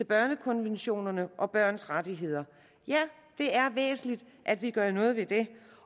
børnekonvention og børns rettigheder ja det er væsentligt at vi gør noget ved det